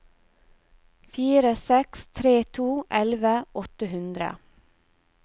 fire seks tre to elleve åtte hundre